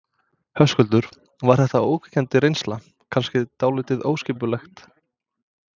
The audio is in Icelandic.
Höskuldur: Var þetta ógnvekjandi reynsla, kannski dálítið óskipulegt?